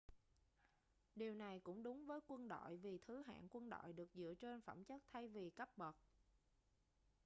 điều này cũng đúng với quân đội vì thứ hạng quân đội được dựa trên phẩm chất thay vì cấp bậc